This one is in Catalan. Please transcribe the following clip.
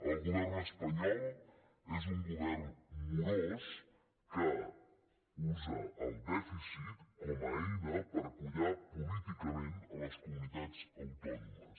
el govern espanyol és un govern morós que usa el dèficit com a eina per collar políticament les comunitats autònomes